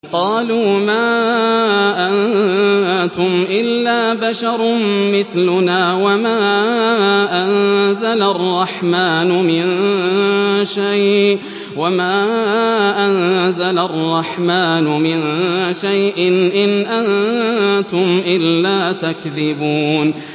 قَالُوا مَا أَنتُمْ إِلَّا بَشَرٌ مِّثْلُنَا وَمَا أَنزَلَ الرَّحْمَٰنُ مِن شَيْءٍ إِنْ أَنتُمْ إِلَّا تَكْذِبُونَ